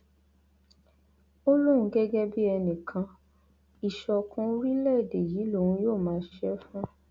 ó lóun gẹgẹ bíi ẹnìkan ìṣọkan orílẹèdè yìí lòun yóò máa ṣiṣẹ fún